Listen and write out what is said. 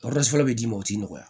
fɔlɔ bɛ d'i ma o ti nɔgɔya